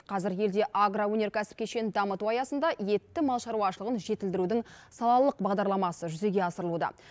қазір елде агроөнеркәсіп кешенін дамыту аясында етті мал шаруашылығын жетілдірудің салалық бағдарламасы жүзеге асырылуда